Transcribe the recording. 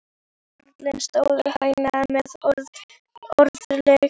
Karlarnir stóðu hægra megin við orgelið.